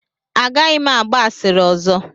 Agaghị m agba asịrị ọzọ.